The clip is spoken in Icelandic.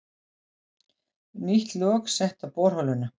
Nýtt lok sett á borholuna